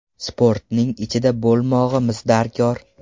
Sportning ichida bo‘lmog‘imiz darkor.